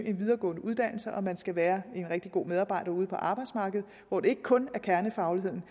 en videregående uddannelse og når man skal være en rigtig god medarbejder ud på arbejdsmarkedet hvor det ikke kun er kernefagligheden